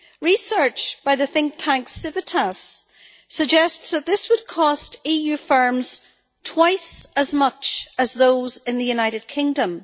Research by the think tank Civitas suggests that this would cost EU firms twice as much as those in the United Kingdom.